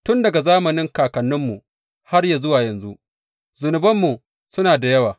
Tun daga zamanin kakanninmu har zuwa yanzu, zunubanmu suna da yawa.